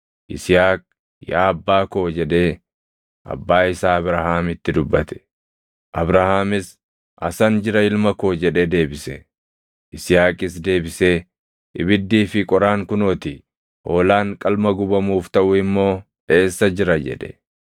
Yisihaaq, “Yaa abbaa koo” jedhee abbaa isaa Abrahaamitti dubbate. Abrahaamis, “Asan jira ilma koo” jedhee deebise. Yisihaaqis deebisee, “Ibiddii fi qoraan kunoo ti; hoolaan qalma gubamuuf taʼu immoo eessa jira?” jedhe.